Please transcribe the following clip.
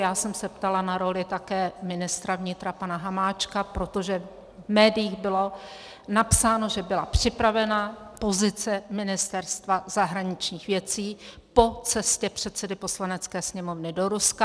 Já jsem se ptala na roli také ministra vnitra pana Hamáčka, protože v médiích bylo napsáno, že byla připravena pozice Ministerstva zahraničních věcí po cestě předsedy Poslanecké sněmovny do Ruska.